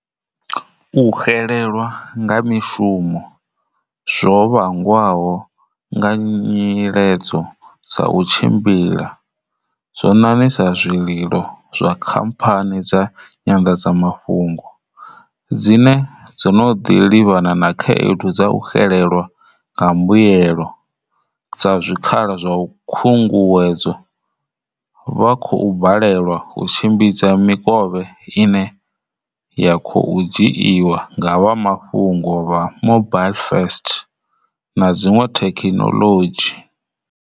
U xelelwa nga mishumo zwo vhangwaho nga nyiledzo dza u tshimbila zwo ṋaṋisa zwililo zwa khampha ni dza nyanḓadzamafhungo dzine dzo no ḓi livhana na khaedu dza u xelelwa nga mbuyelo dza zwi khala zwa khunguwedzo, vha khou balelwa u tshimbidza miko vhe ine ya khou dzhiiwa nga vha mafhungo vha mobile first na dziṅwe thekhinoḽodzhi.